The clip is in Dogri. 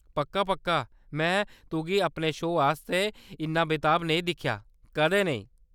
पक्का-पक्का, मैं तुगी अपने शो आस्तै इन्ना बेताब नेईं दिक्खेआ, कदें नेईं !